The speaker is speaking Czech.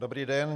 Dobrý den.